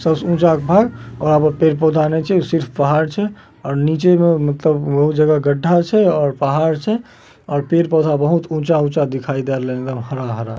सब में जागबहार और यहाँ पे पेड़ पोधा आने छे सिर्फ पहाड़ छे और नीचे में मतलब बहुत जगह गड्ढा छे और पहाड़ छै और पेड़-पोधा बहुत ऊँचा-ऊंचा दिखाय दे रहले एकदम हरा हरा |